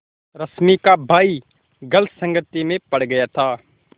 रश्मि का भाई गलत संगति में पड़ गया था